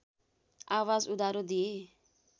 आवाज उधारो दिए